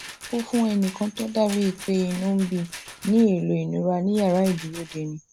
ó fún ẹnì kan tó dà bíi pé inú ń bí i ní elo ìnura ní yàrá ìdúródeni